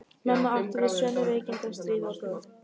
Mamma átti við sömu veikindi að stríða og bróðir þinn.